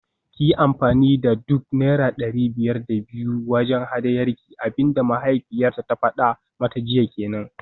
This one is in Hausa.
Kiyi amfani da duk naira dari biyar da biyu wajen hadayarki, abinda mahaifiyarta ta fada mata jiya kenan